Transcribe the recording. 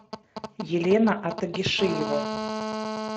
елена атагишиева